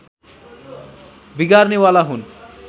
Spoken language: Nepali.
बिगार्नेवाला हुन्